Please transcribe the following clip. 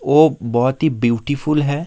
ओ बहोत ही ब्यूटीफुल है।